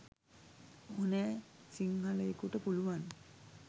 ඕනෑ සින්හලයෙකුට පුලුවන්.